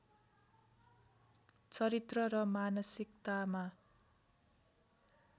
चरित्र र मानसिकतामा